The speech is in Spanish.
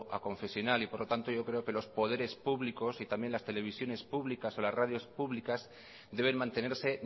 aconfesional y por lo tanto yo creo que los poderes públicos y también las televisiones públicas las radios públicas deben mantenerse